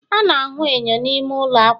a na-ahụ enyo n'ime ụlọ akwa